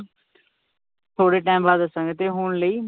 ਥੋੜੇ time ਬਾਅਦ ਦੱਸਾਂਗਾ ਤੇ ਹੁਣ ਲਈ,